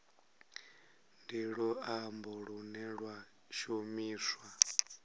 ndi luambo lune lwa shumiswa